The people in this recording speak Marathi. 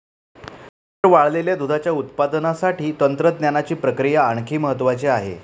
नंतर वाळलेल्या दुधाच्या उत्पादनासाठी तंत्रज्ञानाची प्रक्रिया आणखी महत्वाची आहे.